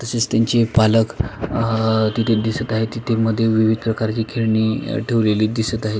तसेच त्यांचे पालक आ तिथे दिसत आहे तिथे मध्ये विविध प्रकारची खेळणी ठवलेली दिसत आहे.